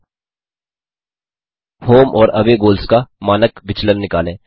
home और away goals का मानक विचलन निकालें